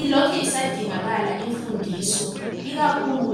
Ilokhe isadingakala imfundiso ikakhulu